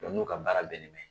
Dɔnku n'u ka baara bɛlen bɛ